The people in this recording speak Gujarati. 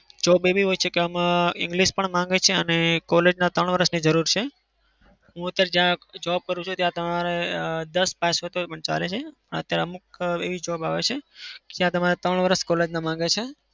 job એવી હોય છે કે આમાં english પણ માંગે છે અને college ના ત્રણ વરસની જરૂર છે. હું અત્યારે જ્યાં job કરું છું ત્યાં તમારે અમ દસ પાસ હોય તો પણ ચાલે છે. અત્યારે અમુક એવી job આવે છે ત્યાં તમારે ત્રણ વરસ college ના માંગે છે.